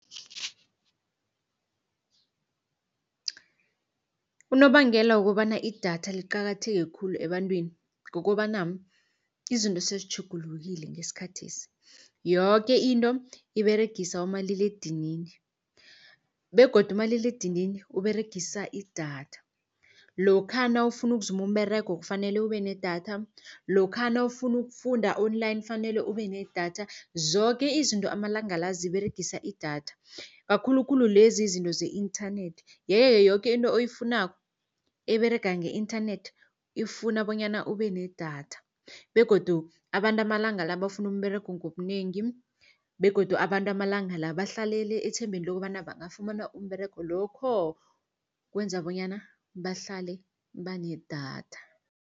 Unobangela wokobana idatha liqakatheke khulu ebantwini, kukobana izinto sezitjhugulukile ngesikhathesi. Yoke into iberegisa umaliledinini begodu umaliledinini uberegisa idatha, lokha nawufuna ukuzuma umberego kufanele ube nedatha, lokha nawufuna ukufunda online kufanele ube nedatha. Zoke izinto amalanga la ziberegisa idatha kakhulukhulu lezi izinto ze-internet. Yeke-ke yoke into oyifunako eberega nge-inthanethi, ifuna bonyana ube nedatha begodu abantu amalanga la bafuna umberego ngobunengi. Begodu abantu amalanga la bahlalele ethembeni lokobana bangafumana umberego, lokho kwenza bonyana bahlale banedatha.